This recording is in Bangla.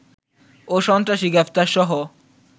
ও সন্ত্রাসী গ্রেফতারসহ